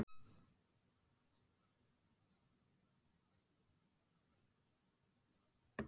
En hvar má helst búast við niðurskurði?